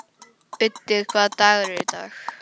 Úddi, hvaða dagur er í dag?